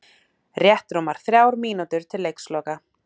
Rétt rúmar þrjár mínútur til leiksloka